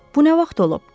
Bu nə vaxt olub?